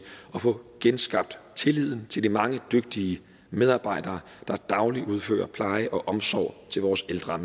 at få genskabt tilliden til de mange dygtige medarbejdere der dagligt udfører pleje og omsorg til vores ældre